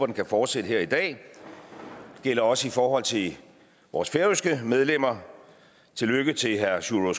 den kan fortsætte her i dag det gælder også i forhold til vores færøske medlemmer tillykke til herre sjúrður